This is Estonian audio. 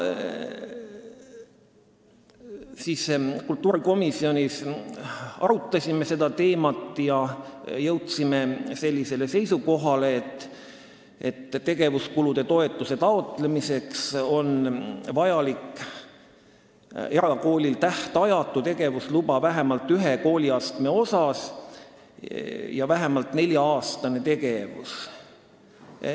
Kultuurikomisjonis me arutasime seda teemat ja jõudsime seisukohale, et tegevuskulutoetuse taotlemiseks on vaja, et erakoolil oleks tähtajatu tegevusluba vähemalt ühel kooliastmel ja kool peaks olema tegutsenud vähemalt neli aastat.